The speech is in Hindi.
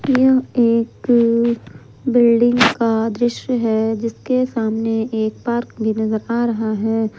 यह एक बिल्डिंग का दृश्य है जिसके सामने एक पार्क भी नज़र आ रहा है।